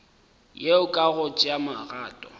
yeo ka go tšea magato